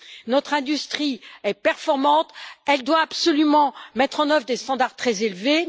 Notre industrie est performante, elle doit absolument mettre en œuvre des normes très élevées.